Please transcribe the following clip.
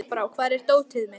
Kolbrá, hvar er dótið mitt?